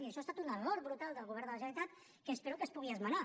i això ha estat un error brutal del govern de la generalitat que espero que es pugui esmenar